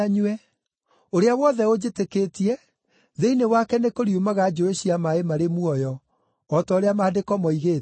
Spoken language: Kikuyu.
Ũrĩa wothe ũnjĩtĩkĩtie, thĩinĩ wake nĩkũriumaga njũũĩ cia maaĩ marĩ muoyo, o ta ũrĩa Maandĩko moigĩte.”